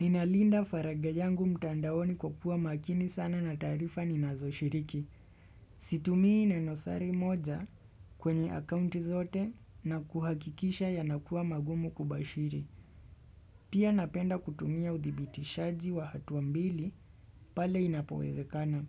Ninalinda faragha yangu mtandaoni kwa kuwa makini sana na taarifa ninazo shiriki. Situmii nenosari moja kwenye akaunti zote na kuhakikisha ya nakuwa magumu kubashiri. Pia napenda kutumia uthibitishaji wa hatua mbili pale inapoweze kana.